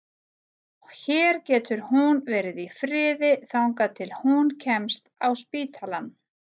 Hér getur hún verið í friði þangað til hún kemst á spítalann.